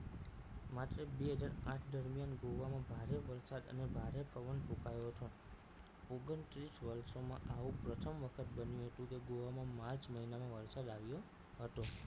માત્ર બે હજાર આઠ દરમિયાન ગોવામાં ભારે વરસાદ અને ભારે પવન ફૂંકાયો હતો ઓગણત્રીસ વર્ષોમાં આવું પ્રથમ વખત બન્યું હતું કે ગોવામાં march મહિનામાં વરસાદ આવ્યો હતો